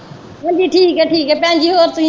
ਹਾਂਜੀ ਹਾਂਜੀ ਠੀਕ ਏ ਠੀਕ ਭੈਣਜੀ ਹੋਰ ਤੁਸੀਂ।